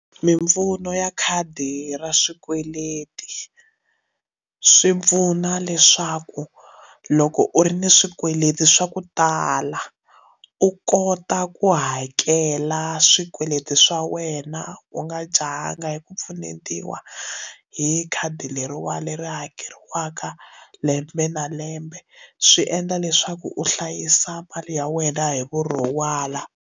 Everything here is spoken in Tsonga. Mimpfuno ya khadi ra swikweleti swi pfuna leswaku loko u ri ni swikweleti swa ku tala u kota ku hakela swikweleti swa wena u nga jahanga hi ku pfunetiwa hi khadi leriwana leri hakeriwaka lembe na lembe swi endla leswaku u hlayisa mali ya wena hi vurhon'wana.